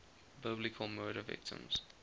biblical murder victims